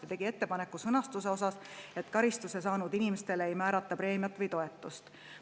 Ta tegi ettepaneku sõnastust nii, et karistuse saanud inimestele ei määrata preemiat või toetust.